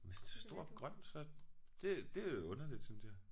Hvis det er stort grønt så det det er underligt synes jeg